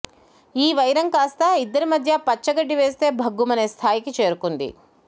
ఈ వైరం కాస్త ఇద్దరి మధ్య పచ్చగడ్డి వేస్తే భగ్గుమనే స్థాయికి చేరుకుంది